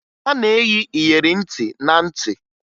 A na-eyi iyeri ntị na ntị